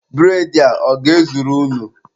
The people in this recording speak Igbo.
Bụredị a, ọ ga-ezuru unu?